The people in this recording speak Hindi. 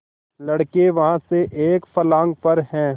लड़के वहाँ से एक फर्लांग पर हैं